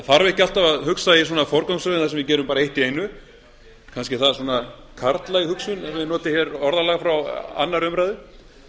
þarf ekki alltaf að hugsa í forgangsröðun þar sem við gerum bara eitt í einu kannski er það karllæg hugsun svo ég noti hér orðalag frá annarri umræðu